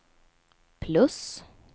plus